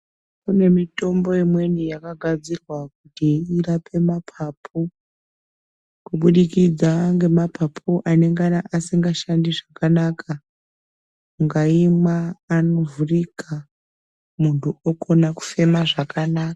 Kune mitombo imweni yakagadzirwa kuti irape maphaphu. Kubudikidza ngemaphaphu anengana asinga shandi zvakanaka, ungaimwa ano vhurika, munhu okone kufema zvakanaka.